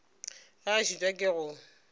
ge a šitwa ke go